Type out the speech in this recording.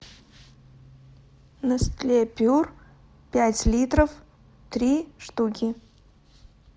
нестле пюр пять литров три штуки